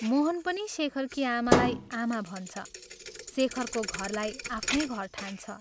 मोहन पनि शेखरकी आमालाई आमा भन्छ शेखरको घरलाई आफ्नै घर ठान्छ।